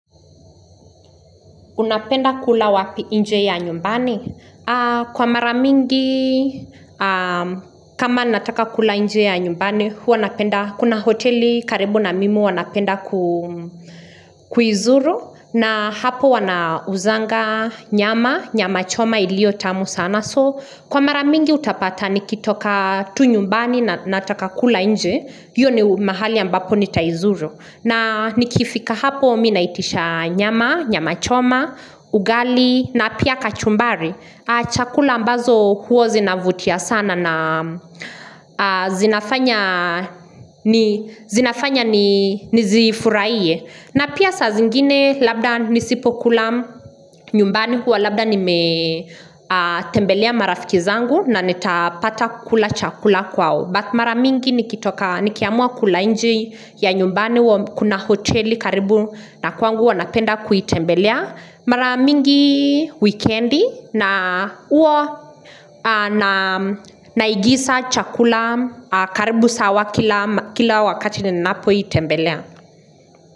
Unapenda kula wapi inje ya nyumbani? Kwa mara mingi, kama nataka kula inje ya nyumbani, huwa napenda kuna hoteli karibu na mimi huwa napenda kuizuru. Na hapo wanauzanga nyama, nyama choma iliyo tamu sana. So, kwa mara mingi utapata nikitoka tu nyumbani na nataka kula inje, hiyo ni mahali ambapo nitaizuru. Na nikifika hapo mimi naitisha nyama, nyama choma, ugali na pia kachumbari Chakula ambazo huwa zinavutia sana na zinafanya nizifuraiye na pia saa zingine labda nisipokula nyumbani huwa labda nimetembelea marafiki zangu na nitapata kula chakula kwao but Mara mingi nikitoka nikiamua kula inje ya nyumbani huwa kuna hoteli karibu na kwangu huwa napenda kuitembelea. Mara mingi wikendi na huwa anaigisa chakula karibu sawa kila wakati nininapoitembelea.